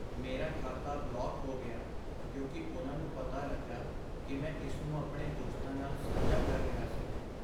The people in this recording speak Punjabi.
ਮੇਰਾ ਖਾਤਾ ਬਲੌਕ ਹੋ ਗਿਆ ਕਿਉਂਕਿ ਉਹਨਾਂ ਨੂੰ ਪਤਾ ਲੱਗਾ ਕਿ ਮੈਂ ਇਸਨੂੰ ਆਪਣੇ ਦੋਸਤਾਂ ਨਾਲ ਸਾਂਝਾ ਕਰ ਰਿਹਾ ਸੀ।